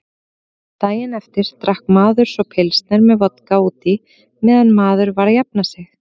Daginn eftir drakk maður svo pilsner með vodka útí meðan maður var að jafna sig.